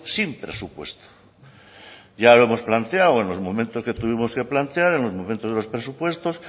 sin presupuesto ya lo hemos planteado en los momentos que tuvimos que plantear en los momentos de los presupuestos